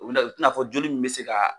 U bɛna u tɛna fɔ joli in bɛ se ka